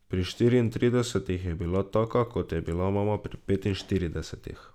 Pri šestintridesetih je bila taka, kot je bila mama pri petinštiridesetih.